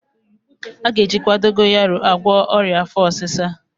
A ga-ejikwa dogoyaro agwọ ọrịa afọ ọsịsa